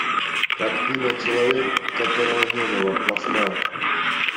картина человек которого не было поставь